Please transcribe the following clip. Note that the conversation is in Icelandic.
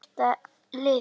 Hverjir skipa liðið?